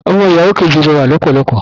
Ọmọ ìyàwó kejì rẹwà lọ́pọ̀lọpọ̀